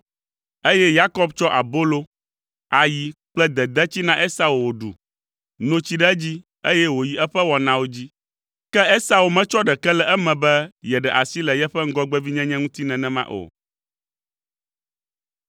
eye Yakob tsɔ abolo, ayi kple dedetsi na Esau wòɖu, no tsi ɖe edzi, eye wòyi eƒe wɔnawo dzi. Ke Esau metsɔ ɖeke le eme be yeɖe asi le yeƒe ŋgɔgbevinyenye ŋuti nenema o.